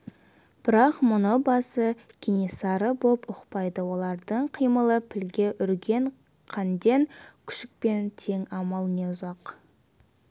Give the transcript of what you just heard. бірақ мұны басы кенесары боп ұқпайды олардың қимылы пілге үрген қанден күшікпен тең амал не ұзақ